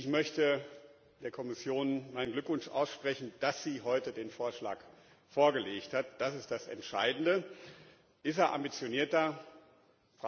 Ich möchte der Kommission meinen Glückwunsch aussprechen, dass sie heute den Vorschlag vorgelegt hat das ist das Entscheidende. Ist es ein ambitionierter Vorschlag?